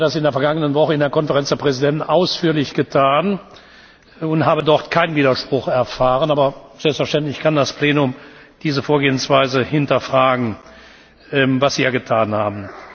Ich habe das in der vergangenen Woche in der Konferenz der Präsidenten ausführlich getan und habe dort keinen Widerspruch erfahren, aber selbstverständlich kann das Plenum diese Vorgehensweise hinterfragen, was Sie ja getan haben.